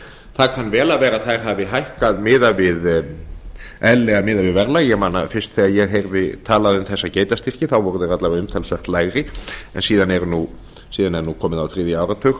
það kann vel að vera að þær hafi hækkað miðað við verðlag ég man að fyrst þegar ég talaði um þessa geitastyrki þá voru þeir alla vega umtalsvert lægri en síðan er komið á þriðja áratug